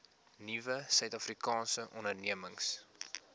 nuwe suidafrikaanse ondernemings